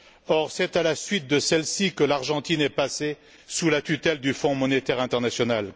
Or, c'est à la suite de celle ci que l'Argentine est passée sous la tutelle du Fonds monétaire international.